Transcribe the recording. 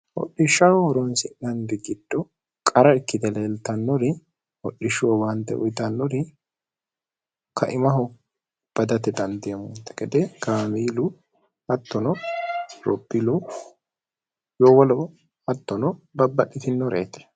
hodhishshaho horonsi'nandi gidho qara ikkite leeltannori hodhishsho wowaante uyixannori kaimaho badate xandiemmoonte gede kaamiilu hattono ropilu yoo wolo hattono babbadhitinoreeti